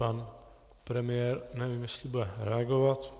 Pan premiér, nevím, jestli bude reagovat.